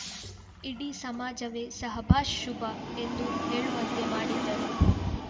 ಇಡೀ ಸಮಾಜವೇ ಸಹಬ್ಬಾಶ್‌ ಶುಭ ಎಂದು ಹೇಳುವಂತೆ ಮಾಡಿದ್ದರು